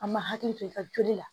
An ma hakili to i ka joli la